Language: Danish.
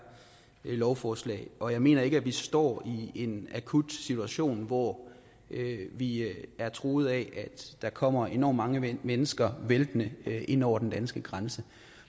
lovforslag og jeg mener ikke at vi står i en akut situation hvor vi er truet af at der kommer enormt mange mennesker væltende ind over den danske grænse